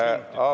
Aitäh!